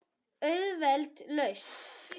Auðveld lausn.